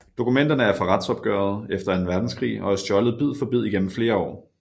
Dokumenterne er fra retsopgøret efter Anden Verdenskrig og er stjålet bid for bid igennem flere år